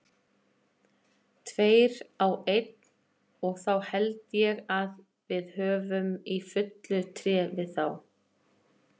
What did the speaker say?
Tveir á einn og þá held ég við höfum í fullu tré við þá.